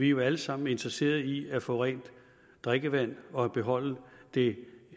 jo alle sammen interesserede i at få rent drikkevand og beholde det